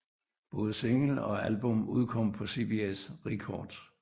Både single og album udkom på CBS Records